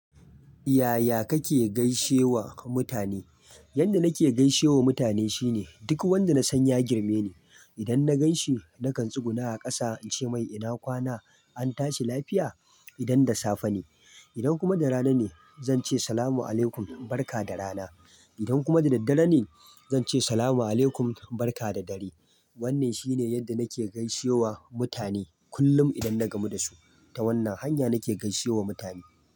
Yaya kake gaishewa mutane? Yanda nake gaishewa mutane shine duk wanda na san ya girme ni. Idan na gan shi, nakan tsuguna a ƙasa in ce mai ina kwana, an tashi lafiya? Idan da safe ne. Idan kuma da rana ne zan ce Salamu alaykum, barka da rana. Idan kuma da daddare ne zan ce Salamu alaykum, barka da dare. Wannan shine yadda nake gaishe wa mutane kullum idan na gamu da su. Ta wannan hanya nake gaishe wa mutane.